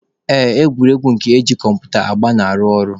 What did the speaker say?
Ee, egwuregwu nke eji kọmputa agba na-arụ ọrụ.